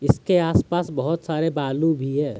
इसके आसपास बहुत सारे बालू भी हैं।